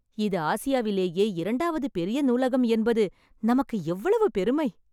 இது ஆசியாவிலேயே இரண்டாவது பெரிய நூலகம் என்பது நமக்கு எவ்வளவு பெருமை.